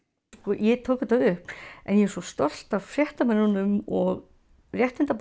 ég tók þetta upp en ég er svo stolt af fréttamönnum og